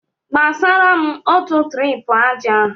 Gbasara m otu tirip aja!